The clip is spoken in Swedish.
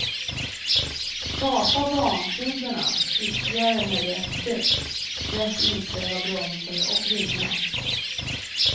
Kapa bantiderna ytterligare med rätt däck, rätt inställda bromsar och vingar.